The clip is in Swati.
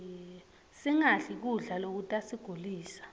singadli kudla lokutasigulisa